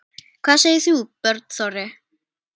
Hvað segir þú, Björn Þorri?